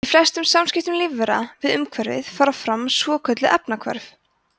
í flestum samskiptum lífvera við umhverfið fara fram svokölluð efnahvörf